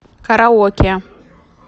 караоке